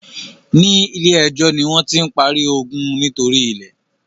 ní ilè ejó ní wón tí ń parí iogun nítorí ilè.